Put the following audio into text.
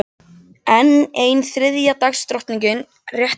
Enn ein þriðja dags drottningin réttir mér afritið.